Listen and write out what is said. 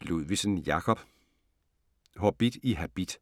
Ludvigsen, Jacob: Hobbit i habit